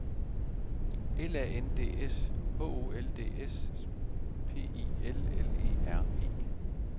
L A N D S H O L D S P I L L E R E